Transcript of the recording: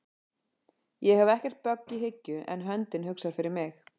Ég hef ekkert bögg í hyggju en höndin hugsar fyrir mig